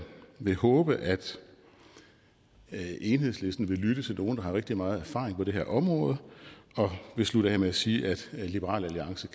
vil håbe at enhedslisten vil lytte til nogle der har rigtig meget erfaring på det her område og jeg vil slutte af med at sige at liberal alliance